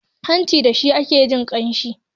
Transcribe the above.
hanci da shi ake jin ƙanshi